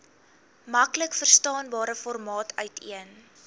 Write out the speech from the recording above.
maklikverstaanbare formaat uiteen